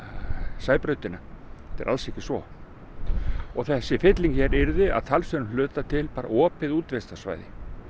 Sæbrautina þetta er alls ekki svo og þessi fylling yrði að talsverðum hluta til bara opið útivistarsvæði